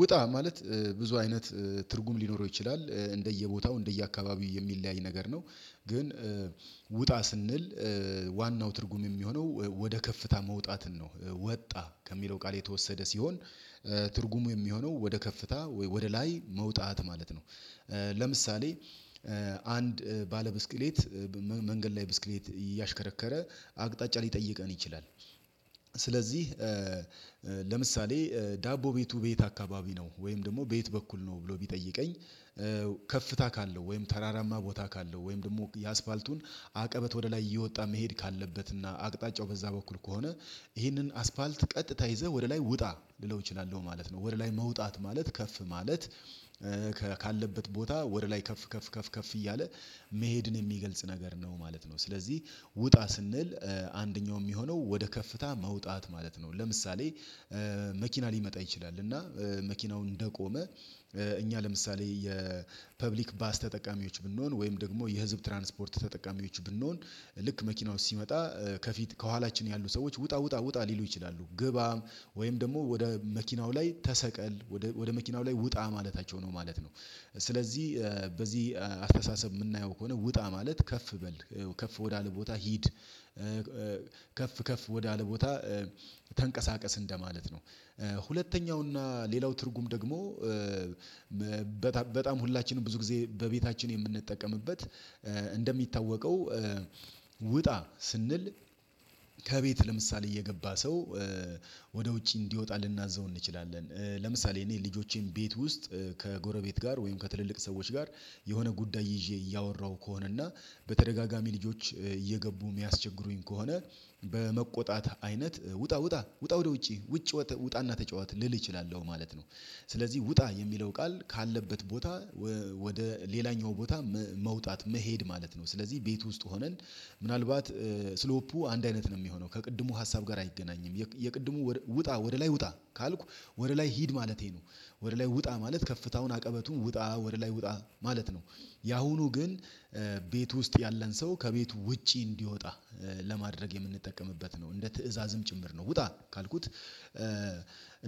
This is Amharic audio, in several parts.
ውጣ ማለት ብዙ አይነት ትርጉም ሊኖረው ይችላል እንደየቦታው እንደየአካባቢው የሚለያይ ነገር ነው። ግን ውጣ ስንል ዋናው ትርጉም የሚሆነው ወደ ከፍታ መውጣትን ነው ወጣ ከሚለው ቃል የተወሰደ ሲሆን ትርጉሙ የሚሆነው ወደ ከፍታ ወይ ወደ ላይ መውጣት ማለት ነው። ለምሳሌ አንድ ባለ ብስክሌት መንገድ ላይ ብስክሌት እያሽከረከረ አቅጣጫ ሊጠይቀን ይችላል። ስለዚህ ለምሳሌ ዳቦ ቤቱ በየት አካባቢ ነው ወይም ደግሞ በየት በኩል ነው ብሎ ቢጠይቀኝ? ከፍታ ካለው ወይም ተራራማ ቦታ ካለው ወይም ደግሞ የአስፓልቱን አቀበት ወደ ላይ እየወጣ መሄድ ካለበትና አቅጣጫው በዛ በኩል ከሆነ ይህንን አስፓልት ቀጥታ ይዘህ ወደ ላይ ውጣ ልለው እችላለሁ ማለት ነው ወደ ላይ መውጣት ማለት ከፍ ማለት ካለበት ቦታ ወደ ላይ ከፍ ከፍ ከፍ ከፍ እያለ መሄድን የሚገልጽ ነገር ነው ማለት ነው። ስለዚህ ውጣ ስንል አንደኛው የሚሆነው ወደ ከፍታ መውጣት ማለት ነው። ለምሳሌ መኪና ሊመጣ ይችላል እና መኪናው እንደቆመ እኛ ለምሳሌ የፐብሊክ ባስ ተጠቃሚዎች ብንሆን ወይም ደግሞ የህዝብ ትራንስፖርት ተጠቃሚዎች ብንሆን ልክ መኪናው ሲመጣ ከፊት ከኋላችን ያሉ ሰዎች ውጣ ውጣ ውጣ ሊሉ ይችላሉ ግባም ወይም ደግሞ ወደ መኪናው ላይ ተሰቀል ወደ መኪናው ላይ ውጣ ማለታቸው ነው ማለት ነው። ስለዚህ በዚህ አስተሳሰብ የምናየው ከሆነ ውጣ ማለት ከፍ በል ከፍ ወዳለ ቦታ ሂድ። ከፍ ወዳለ ቦታ ተንቀሳቀስ እንደማለት ነው። ሁለተኛውና ሌላው ትርጉም ደግሞ በጣም ሁላችንም ብዙ ጊዜ በቤታችን የምንጠቀምበት እንደሚታወቀው ውጣ ስንል ከቤት ለምሳሌ እየገባ ሰው ወደ ውጪ እንዲወጣ ልናዘው እንችላለን። ለምሳሌ እኔ ልጆቼን ቤት ውስጥ ከጎረቤት ጋር ወይም ከትልልቅ ሰዎች ጋር የሆነ ጉዳይ ይዤ እያወራሁ ከሆነ እና በተደጋጋሚ ልጆች እየገቡ የሚያስቸግሩኝ ከሆነ በመቆጣት አይነት ውጣ ውጣ ውጣ ወደ ውጪ ውጭ ውጣና ተጫዋት ልል እችላለሁ ማለት ነው። ስለዚህ ውጣ የሚለው ቃል ካለበት ቦታ ወደ ሌላኛው ቦታ መውጣት መሄድ ማለት ነው። ስለዚህ ቤት ውስጥ ሆነን ምናልባት ስሎፑ አንድ አይነት ነው የሚሆነው ከቅድሙ ሀሳብ ጋር አይገናኝም የቅድሙ ውጣ ወደ ላይ ውጣ ካልኩ ወደ ላይ ሂድ ማለቴ ነው። ወደ ላይ ውጣ ማለት ከፍታውን አቀበቱን ውጣ ወደ ላይ ውጣ ማለት ነው። ያሁኑ ግን ቤት ውስጥ ያለን ሰው ከቤት ውጪ እንዲወጣ ለማድረግ የምንጠቀምበት ነው እንደ ትእዛዝም ጭምር ነው ውጣ ካልኩት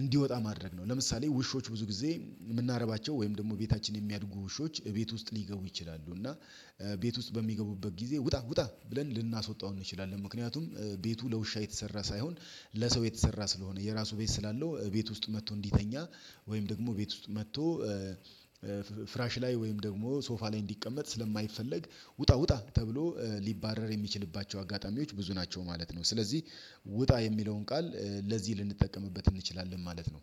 እንዲወጣ ማድረግ ነው። ለምሳሌ ውሾች ብዙ ጊዜ የምናረባቸው ወይም ደግሞ ቤታችን የሚያድጉ ውሾች ቤት ውስጥ ሊገቡ ይችላሉ እና ቤት ውስጥ በሚገቡበት ጊዜ ውጣ ውጣ ብለን ልናስወጣው እንችላለን ምክንያቱም ቤቱ ለውሻ የተሰራ ሳይሆን ለሰው የተሰራ ስለሆነ የራሱ ቤት ስላለው ቤት ውስጥ መጥቶ እንዲተኛ ወይም ደግሞ ቤት ውስጥ መጥቶ ፍራሽ ላይ ወይም ደግሞ ሶፋ ላይ እንዲቀመጥ ስለማይፈለግ ውጣ ውጣ ተብሎ ሊባረር የሚችልባቸው አጋጣሚዎች ብዙ ናቸው ማለት ነው። ስለዚህ ውጣ የሚለውን ቃል ለዚህ ልንጠቀምበት እንችላለን ማለት ነው።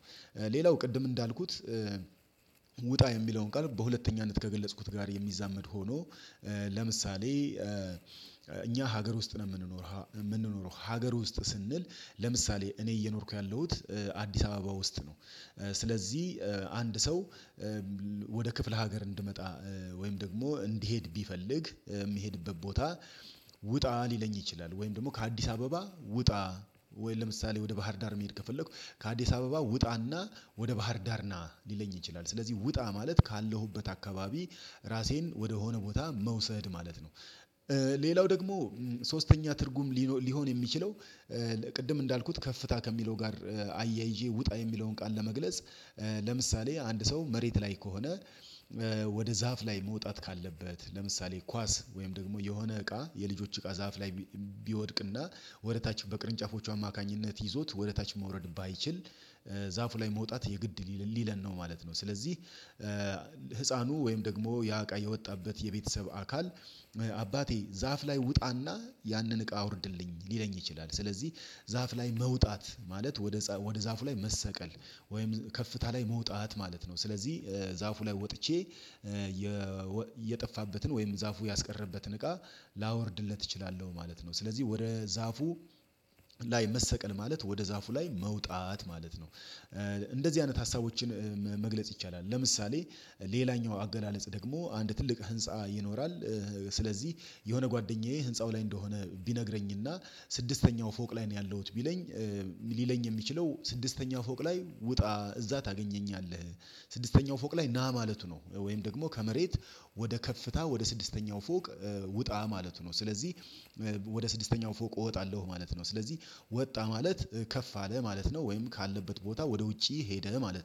ሌላው ቅድም እንዳልኩት ውጣ የሚለውን ቃል በሁለተኛነት ከገለጽኩት ጋር የሚዛመድ ሆኖ ለምሳሌ እኛ ሀገር ውስጥ ነው የምንኖረው ሀገር ውስጥ ስንል ለምሳሌ እኔ እየኖርኩ ያለሁት አዲስ አበባ ውስጥ ነው። ስለዚህ አንድ ሰው ወደ ክፍለ ሀገር እንድመጣ ወይም ደግሞ እንዲሄድ ቢፈልግ የሚሄድበት ቦታ ውጣ ሊለኝ ይችላል ወይም ደግሞ ከአዲስ አበባ ውጣ ወይም ለምሳሌ ወደ ባህር ዳር መሄድ ከፈለኩ ከአዲስ አበባ ውጣና ወደ ባህር ዳር ና ሊለኝ ይችላል ስለዚህ ውጣ ማለት ካለሁበት አካባቢ ራሴን ወደሆነ ቦታ መውሰድ ማለት ነው። ሌላው ደግሞ ሶስተኛ ትርጉም ሊሆን የሚችለው ቅድም እንዳልኩት ከፍታ ከሚለው ጋር አያይዤ ውጣ የሚለውን ቃል ለመግለጽ ለምሳሌ አንድ ሰው መሬት ላይ ከሆነ ወደ ዛፍ ላይ መውጣት ካለበት ለምሳሌ ኳስ ወይም ደግሞ የሆነ እቃ የልጆች እቃ ዛፍ ላይ ቢወድቅና ወደ ታች በቅርንጫፎቹ አማካኝነት ይዞት ወደ ታች መውረድ ባይችል ዛፉ ላይ መውጣት የግድ ሊለን ነው ማለት ነው። ስለዚህ ህፃኑ ወይም ደግሞ ያ እቃ የወጣበት የቤተሰብ አካል አባቴ ዛፍ ላይ ውጣና ያንን እቃ አውርድልኝ ሊለኝ ይችላል። ስለዚህ ዛፍ ላይ መውጣት ማለት ወደ ወደ ዛፉ ላይ መሰቀል ወይም ከፍታ ላይ መውጣት ማለት ነው። ስለዚህ ዛፉ ላይ ወጥቼ የጠፋበትን ወይም ዛፉ ያስቀረበትን እቃ ላወርድለት እችላለሁ ማለት ነው። ስለዚህ ወደ ዛፉ ላይ መሰቀል ማለት ወደ ዛፉ ላይ መውጣት ማለት ነው። እንደዚህ አይነት ሀሳቦችን መግለጽ ይቻላል። ለምሳሌ ሌላኛው አገላለጽ ደግሞ አንድ ትልቅ ህንፃ ይኖራል ስለዚህ የሆነ ጓደኛዬ ህንፃው ላይ እንደሆነ ቢነግረኝና ስድስተኛው ፎቅ ላይ ነው ያለሁት ቢለኝ ሊለኝ የሚችለው ስድስተኛው ፎቅ ላይ ውጣ እዛ ታገኘኛለህ ስድስተኛው ፎቅ ላይ ና ማለቱ ነው። ወይም ደግሞ ከመሬት ወደ ከፍታ ወደ ስድስተኛው ፎቅ ውጣ ማለቱ ነው። ስለዚህ ወደ ስድስተኛው ፎቅ እወጣለሁ ማለት ነው። ስለዚህ ወጣ ማለት ከፍ አለ ማለት ነው። ወይም ካለበት ቦታ ወደ ውጪ ሄደ ማለት ነው